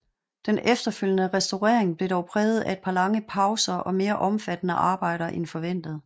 Den efterfølgende restaurering blev dog præget af et par lange pauser og mere omfattende arbejder end forventet